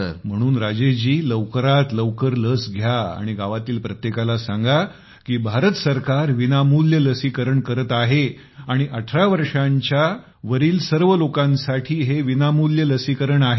म्हणून राजेश जी लवकरात लवकर लस घ्या आणि गावातील प्रत्येकाला सांगा की भारत सरकार विनामूल्य लसीकरण करत आहे आणि 18 वर्षांच्या वरील सर्व लोकांसाठी हे विनामूल्य लसीकरण आहे